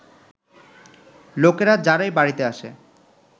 লোকেরা, যারাই বাড়িতে আসে